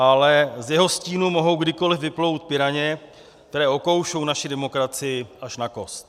Ale z jeho stínu mohou kdykoli vyplout piraně, které okoušou naši demokracii až na kost.